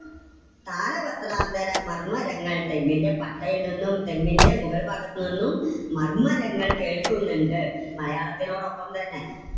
താലപത്രാന്തരമർമരങ്ങൾ, തെങ്ങിന്റെ പട്ടയിൽ നിന്നും തെങ്ങിന്റെ മുകൾ ഭാഗത്തുനിന്നും മർമരങ്ങൾ കേൾക്കുന്നുണ്ട്. മലയാളത്തിനോട് ഒപ്പം തന്നെ